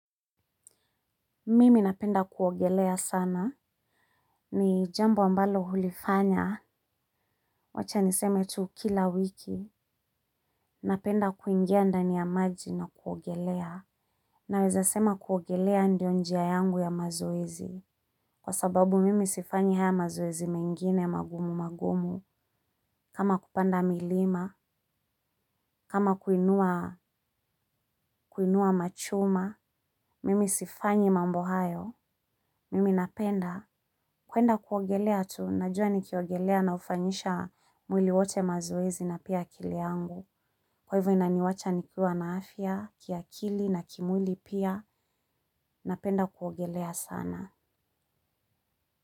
Mimi napenda kuogelea sana. Ni jambo ambalo hulifanya. Wacha niseme tu kila wiki. Napenda kuingia ndani ya maji na kuogelea. Naweza sema kuogelea ndiyo njia yangu ya mazoezi. Kwa sababu mimi sifanyi haya mazoezi mengine magumu magumu. Kama kupanda milima. Kama kuinua machuma. Mimi sifanyi mambo hayo. Mimi napenda. Kwenda kuogelea tu, najua nikiogelea na hufanyisha mwili wote mazoezi na pia akili yangu. Kwa hivyo inaniwacha nikiwa na afya, kiakili na kimwili pia, napenda kuogelea sana.